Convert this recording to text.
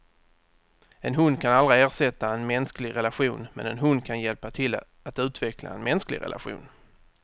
En hund kan aldrig ersätta en mänsklig relation, men en hund kan hjälpa till att utveckla en mänsklig relation.